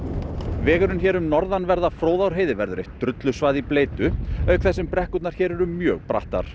vegurinn hér um norðanverða Fróðárheiði verður eitt drullusvað í bleytu auk þess sem brekkurnar hér eru mjög brattar